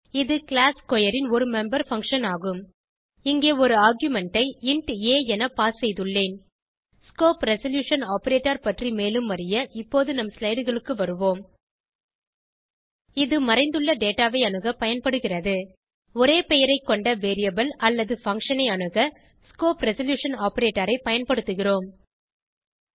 இது கிளாஸ் squareன் ஒரு மெம்பர் பங்ஷன் ஆகும் இங்கே ஒரு ஆர்குமென்ட் ஐ இன்ட் ஆ என பாஸ் செய்துள்ளேன் ஸ்கோப் ரெசல்யூஷன் ஆப்பரேட்டர் பற்றி மேலும் அறிய இப்போது நம் ஸ்லைடு களுக்கு வருவோம் இது மறைந்துள்ள டேட்டா ஐ அணுக பயன்படுகிறது ஒரே பெயரை கொண்ட வேரியபிள் அல்லது பங்ஷன் ஐ அணுக ஸ்கோப் ரெசல்யூஷன் ஆப்பரேட்டர் ஐ பயன்படுத்துகிறோம்